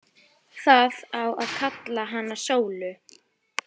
Það á að kalla hana Sólu.